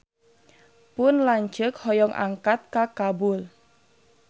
Pun lanceuk hoyong angkat ka Kabul